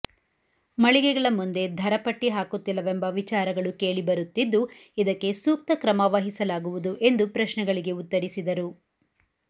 ಮಳಿಗೆಗಳ ಮುಂದೆ ಧರಪಟ್ಟಿ ಹಾಕುತ್ತಿಲ್ಲವೆಂಬ ವಿಚಾರಗಳು ಕೇಳಿ ಬರುತ್ತಿದ್ದು ಇದಕ್ಕೆ ಸೂಕ್ತ ಕ್ರಮ ವಹಿಸಲಾಗುವುದು ಎಂದು ಪ್ರಶ್ನೆಗಳಿಗೆ ಉತ್ತರಿಸಿದರು